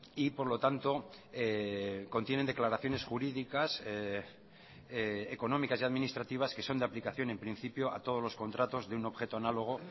y por lo tanto contienen declaraciones jurídicas económicas y administrativas que son de aplicación en principio a todos los contratos de un objeto análogo